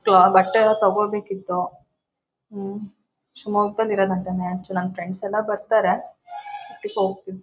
ಬಟ್ಟೆಯೆಲ್ಲಾ ತೋಕೋಬೇಕಿತ್ತು. ಉಹ್ ಶಿಮೊಗ್ಗದಲ್ಲಿ ನ್ಯಾಚುರಲ್ ನನ್ನ ಫ್ರೆಂಡ್ಸ್ ಎಲ್ಲಾ ಬರ್ತಾರೆ ಟ್ರಿಪ್ ಹೋಗತೀನಿ.